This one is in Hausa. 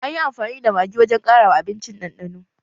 Anyi amfani da Magi wajen ƙara wa abincin ɗanɗano